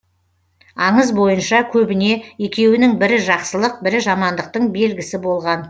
аңыз бойынша көбіне екеуінің бірі жақсылық бірі жамандықтың белгісі болған